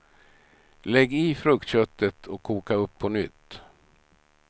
Lägg i fruktköttet och koka upp på nytt.